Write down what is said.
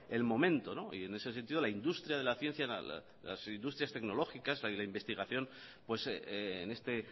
el momento y en ese sentido la industria de la ciencia las industrias tecnológicas la de la investigación en este